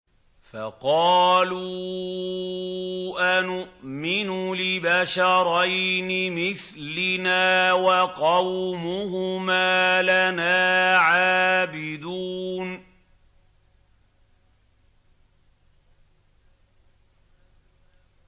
فَقَالُوا أَنُؤْمِنُ لِبَشَرَيْنِ مِثْلِنَا وَقَوْمُهُمَا لَنَا عَابِدُونَ